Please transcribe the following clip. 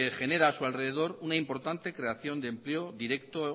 genera a su alrededor una importante creación